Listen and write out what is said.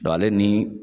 ale ni